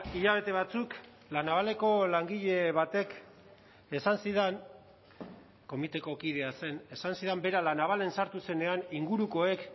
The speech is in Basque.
hilabete batzuk la navaleko langile batek esan zidan komiteko kidea zen esan zidan bera la navalen sartu zenean ingurukoek